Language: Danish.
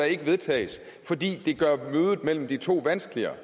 ikke vedtages fordi det gør mødet mellem de to vanskeligere